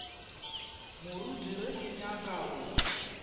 moruti ge ke nyaka go